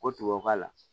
Ko tubabukalan